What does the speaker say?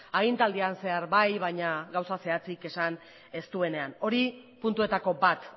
agintaldian zehar bai baina gauza zehatzik esan ez duenean hori puntuetako bat